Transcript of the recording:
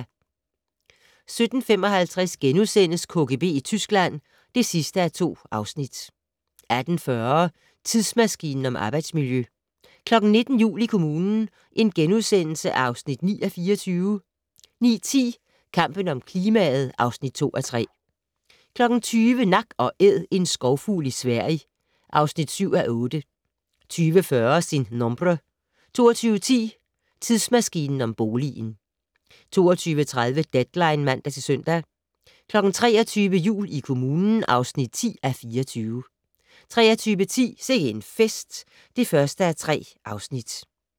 17:55: KGB i Tyskland (2:2)* 18:40: Tidsmaskinen om arbejdsmiljø 19:00: Jul i kommunen (9:24)* 19:10: Kampen om klimaet (2:3) 20:00: Nak & Æd - en skovfugl i Sverige (7:8) 20:40: Sin nombre 22:10: Tidsmaskinen om boligen 22:30: Deadline (man-søn) 23:00: Jul i kommunen (10:24) 23:10: Sikke en fest (1:3)